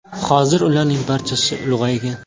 Hozir ularning barchasi ulg‘aygan.